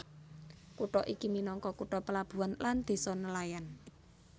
Kutha iki minangka kutha plabuhan lan désa nelayan